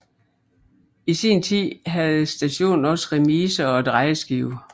I sin tid havde stationen også remise og drejeskive